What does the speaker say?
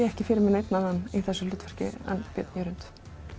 ekki fyrir mér neinn annan í þessu hlutverki en Björn Jörund